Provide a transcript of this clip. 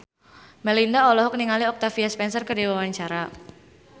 Melinda olohok ningali Octavia Spencer keur diwawancara